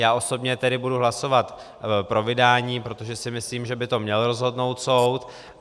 Já osobně tedy budu hlasovat pro vydání, protože si myslím, že by to měl rozhodnout soud.